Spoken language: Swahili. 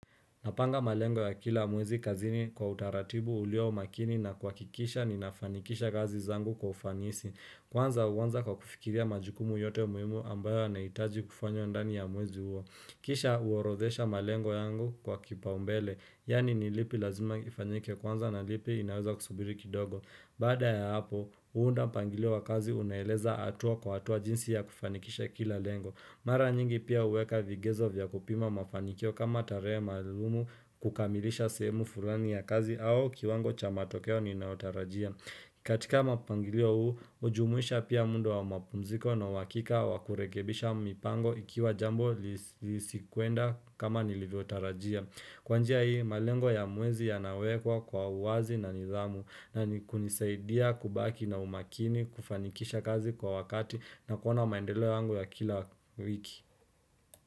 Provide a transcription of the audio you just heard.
Napanga malengo ya kila mwezi kazini kwa utaratibu ulio makini na kuhakikisha ninafanikisha kazi zangu kwa ufanisi. Kwanza huwanza kwa kufikiria majukumu yote muhimu ambayo yanahitaji kufanywa ndani ya mwezi huo. Kisha huorodhesha malengo yangu kwa kipaumbele. Yaani ni lipi lazima lifanyike kwanza na ni lipi linaweza kusubiri kidogo. Baada ya hapo, huunda mpangilio wa kazi unaoeleza hatua kwa hatua jinsi ya kufanikisha kila lengo. Mara nyingi pia huweka vigezo vya kupima mafanikio kama tarehe maalumu kukamilisha sehemu fulani ya kazi au kiwango cha matokeo ninayotarajia. Katika mapangilio huu, hujumuisha pia muda wa mapumziko na uhakika wa kurekebisha mipango ikiwa jambo lisikuenda kama nilivyotarajia. Kwa njia hii, malengo ya mwezi yanawekwa kwa uwazi na nidhamu na nikunisaidia kubaki na umakini kufanikisha kazi kwa wakati na kuona maendeleo yangu ya kila wiki.